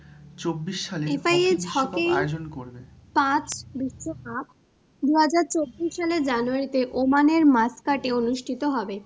পাঁচ বিশ্বকাপ দুহাজার চব্বিশ সালের জানুয়ারীতে Oman নের মাসকাটে অনুষ্ঠিত হবে।